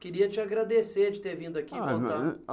Queria te agradecer de ter vindo aqui contar. Ah